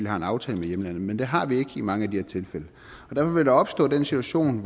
har en aftale med hjemlandet men det har vi ikke i mange af de her tilfælde derfor vil der opstå den situation